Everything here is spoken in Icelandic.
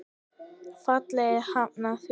Félagið hafnaði því.